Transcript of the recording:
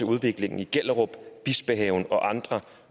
udviklingen i gellerup bispehaven og andre